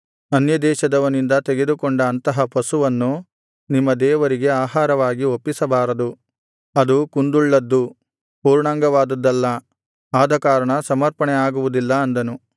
ಅನ್ಯದೇಶದವನಿಂದ ತೆಗೆದುಕೊಂಡ ಅಂತಹ ಪಶುವನ್ನು ನಿಮ್ಮ ದೇವರಿಗೆ ಆಹಾರವಾಗಿ ಒಪ್ಪಿಸಬಾರದು ಅದು ಕುಂದುಳ್ಳದ್ದು ಪೂರ್ಣಾಂಗವಾದುದಲ್ಲ ಆದಕಾರಣ ಸಮರ್ಪಣೆ ಆಗುವುದಿಲ್ಲ ಅಂದನು